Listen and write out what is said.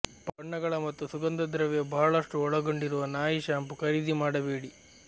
ಬಣ್ಣಗಳ ಮತ್ತು ಸುಗಂಧದ್ರವ್ಯ ಬಹಳಷ್ಟು ಒಳಗೊಂಡಿರುವ ನಾಯಿ ಶಾಂಪೂ ಖರೀದಿ ಮಾಡಬೇಡಿ